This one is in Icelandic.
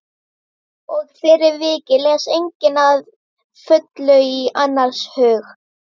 Og fyrir vikið les enginn að fullu í annars hug.